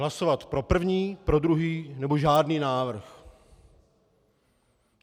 Hlasovat pro první, pro druhý nebo žádný návrh.